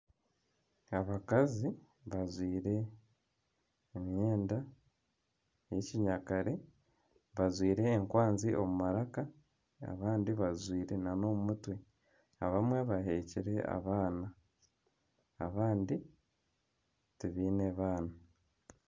Abakazi bajwire emyenda y'ekinyakare bajwire enkwanzi omu maraka, abandi bazijwire nana omu mutwe, abamwe bahekire abaana, abandi tibiine baana.